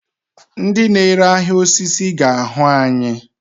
Ndị na-ere ahịa osisi ga-ahụ anyị.